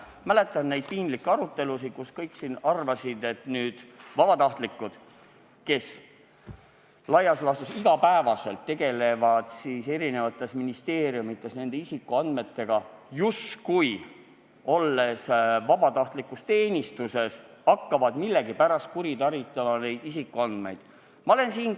Ma mäletan neid piinlikke arutelusid, kus kõik siin arvasid, et inimesed, kes laias laastus iga päev tegelevad eri ministeeriumides isikuandmetega, vabatahtlikus teenistuses olles hakkavad millegipärast neid isikuandmeid kuritarvitama.